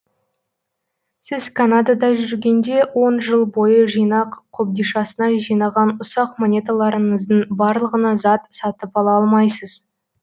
сіз канадада жүргенде он жыл бойы жинақ қобдишасына жинаған ұсақ монеталарыңыздың барлығына зат сатып ала алмайсыз